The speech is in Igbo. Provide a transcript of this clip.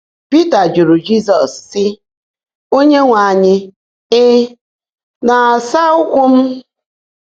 Pị́tà jụ́rụ́ Jị́zọ́s, sị́: “Óńyéńwe ányị́, ị̀ ná-ásá m ụ́kwụ́?”